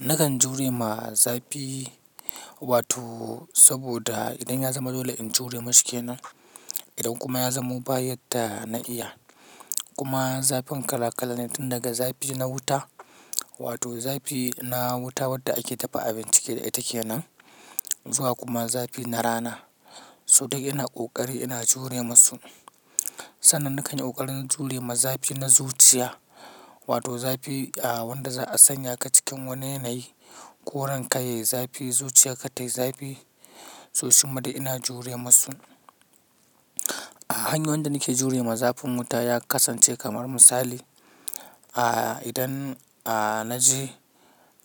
Nakan jure ma zafi wato saboda idan ya zama dole in jure mashi kenan, idan kuma ya zamo bayar da na iya. Kuma zafin kala-kalane tun daga zafi na wuta, wato zafi na wuta wadda ake dafa abinci da ita kenan zuwa kuma zafi na rana. So duk yana ƙoƙari ina jure masu. Sannan na kan yi ƙoƙari na jure ma zafi na zuciya, wato zafi wanda za a sanya ka cikin wani yanayi ko ranka yayi zafi, zuciya ka tayi zafi sosai. Madai ina jure masu. Hanyar wanda nake jure ma zafin wuta ya kasance kamar misali, idan na je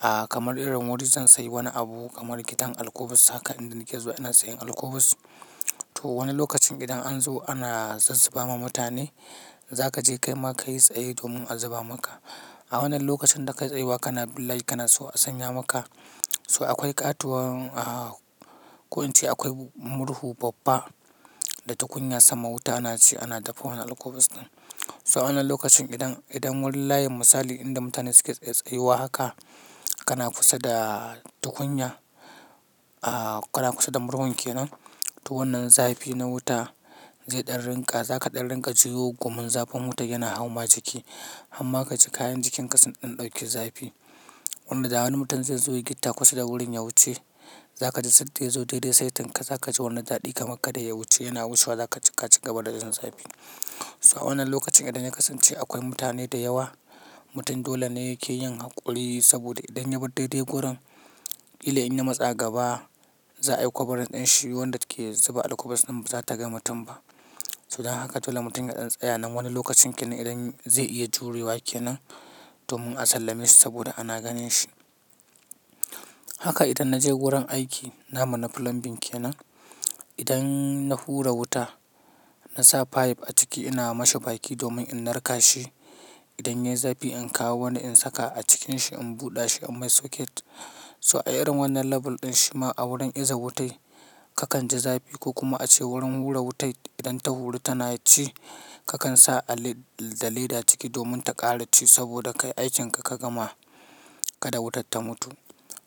kamar irin wuri zan sayi wani abu kamar gidan alkubus haka idan na ke zuwa ina sayan alkubus. To wani lokacin idan an zo ana zasu ba ma mutane, za ka je kai ma ka yi tsaye domin a zuba maka. A wannan lokacin da ka tsayawa kana billayi kana so a sanya maka. So akwai ƙatuwan ko in ce akwai murhu babba da tukunya sama wuta ana ci ana dafa wannan alkubus ɗin. So wannan lokacin idan wurin layin misali idan mutane suke tsayawa haka kana kusa da tukunya, kana kusa da murhun ke nan, to wannan zafi na wuta zai ɗan rinƙa, za ka ɗan rinƙa ji gu mun zafin wuta yana hauma jiki amma ka ji kayan jikinka sun ɗan ɗauki zafi. Wanda da wani mutum zai zo ya yi gita kusa da wurin ya wuce, za ka ji sai da ya zo daidai saitinka za ka ji wannan zaɗi kamar kada ya wuce yana wucewa za ka ci gaba da jin zafi. So wannan lokacin idan ya kasance akwai mutane da yawa, mutum dole ne yake yin haƙuri saboda idan ya bar daidai wurin, ƙila in na matsa gaba za a yi kobarin ɗin shi wanda suke zuba alkubus ɗin ba za ta ga mutum ba. So da haka dole mutum ya ɗan tsaya nan wani lokacin kenan idan zai iya jure wa kenan domin a sallame shi saboda ana ganin shi. Haka idan na je wurin aiki namu na plumbing kenan, idan na hura wuta na sa pipe a ciki ina masa baki domin in narka shi. Idan yayi zafi in kawo wani in saka a cikin shi in buɗa shi in mai socket. So a irin wannan label ɗin shi ma a wurin iza wuta, kakan ji zafi ko kuma a ce wurin hura wuta idan ta huri tana ci kakan sa da leda ciki domin ta ƙara ci saboda kai aikinka ka gama ka da wutar ta mutu.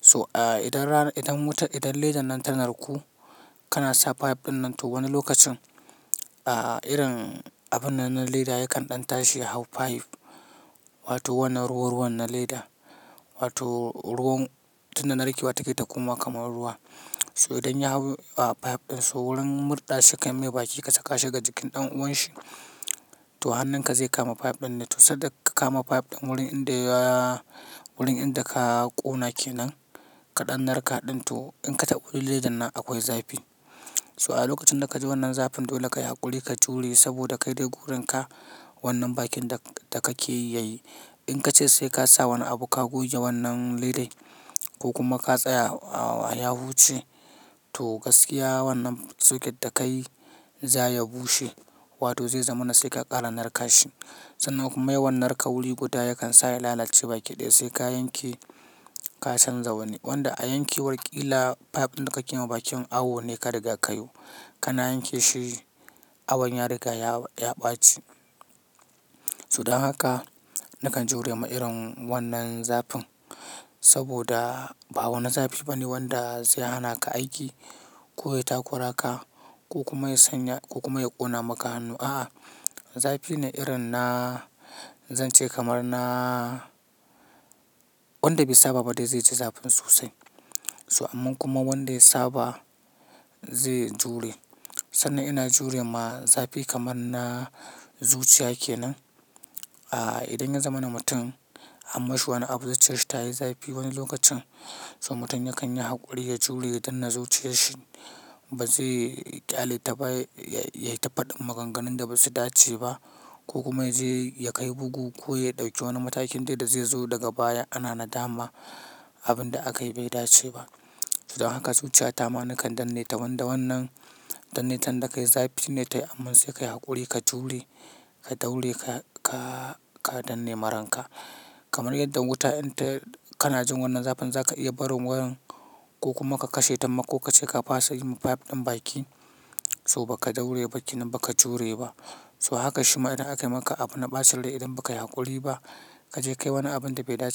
So idan leda nan ta narko kana sa pipe ɗin nan to wani lokacin irin abun nan na leda yakan ɗan tashi ya hau pipe wato wannan ruwan na leda wato ruwan tun da na riƙewa take ta koma kamar ruwa. So idan ya hau pipe ɗin so wurin murɗa shi kan yi baki ka saka shi ga jikin ɗan uwan shi, to hannunka zai kama pipe ɗin ne. To sai da ka kama pipe ɗin wurin inda ka ƙona ke nan ka ɗan narka ɗin to in ka taɓa wuri ledan nan akwai zafi. So a lokacin da ka ji wannan zafin dole ka yi haƙuri ka jure saboda ka dai gurin ka wannan bakin da kake yi yayi. In ka ce sai ka sa wani abu ka guje wannan ledai ko kuma ka tsaya ya wuce, to gaskiya wannan socket da ka yi za ya bushe wato zai zama na sai ka ƙara narka shi. Sannan kuma yi wannan narka wuri guda yakan sa ya lalace bakin dai sai ka yanke ka canza wani. Wanda a yankewar ƙila pipe ɗin da kake ma bakin awo ne ka riga ka yo. Kana yanke shi awon ya riga ya ɓaci. To dan haka nakan jure ma irin wannan zafin saboda ba wani zafi bane wanda zai hana ka aiki ko ya takura ka ko kuma ya sanya ko kuma ya ƙona maka hannu. A'a, zafi ne irin na zan ce kamar na wanda bai saba ba dai zai ji zafin sosai. So amman kuma wanda ya saba ze jure. Sannan ina jure ma zafi kamar na zuciya kenan. Idan ya zama na mutum amma shi wani abu da zuciyar shi ta yi zafi wani lokacin so mutum ya kan yi haƙuri ya jure ya dan na zuciyar shi ba zai ƙyale ta ba yayi ta faɗin maganganun da ba su dace ba ko kuma yaje kai bugu ko ya ɗauki wani matakin dai da zai zo daga baya ana nadama abin da aka yi bai dace ba. So dan haka zuciya ta ma nakan danne ta wanda wannan danneta nda ka yi zafi ne ta yi aman sai ka yi haƙuri ka jure ka daure ka ka ka danne ma ranka. Kamar yadds wuta inta kana jin wannan zafin za ka iya barin wurin ko kuma ka kashe tamma ko ka ce ka fasa yi ma pipe ɗin baki so ba ka daure bakin ba ka jure ba. So haka shi ma idan aka yi maka abu na bacin rai idan ba ka yi haƙuri ba, ka je kai wani abun da bai dace ba.